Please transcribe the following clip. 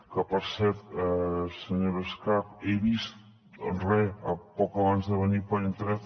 que per cert senyora escarp he vist re poc abans de venir per internet